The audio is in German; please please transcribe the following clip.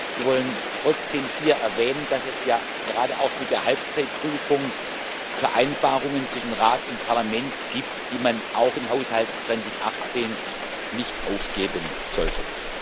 Wir wollen trotzdem hier erwähnen, dass es ja gerade auch mit der Halbzeitprüfung Vereinbarungen zwischen Rat und Parlament gibt, die man auch im Haushalt 2018 nicht aufgeben sollte.